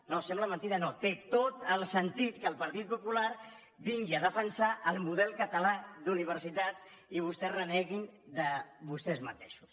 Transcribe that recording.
no sembla mentida no té tot el sentit que el partit popular vingui a defensar el model català d’universitats i que vostès reneguin de vostès mateixos